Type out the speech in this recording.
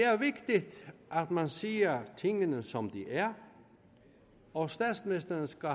er vigtigt at man siger tingene som de er og statsministeren skal